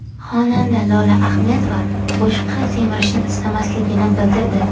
Xonanda Lola Ahmedova boshqa semirishni istamasligini bildirdi.